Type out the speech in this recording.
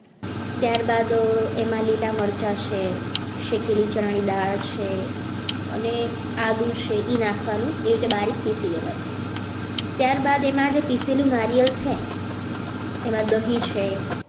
ત્યારબાદ એમાં લીલા મરચા છે શેકેલી ચણાની દાળ છે અને આદુ છે એ નાખવાનું એને બારીક પીસી લેવાનું ત્યારબાદ એમાં જે પીસેલું નાળિયેર છે એમાં દહીં છે.